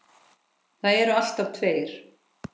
Það eru alltaf tveir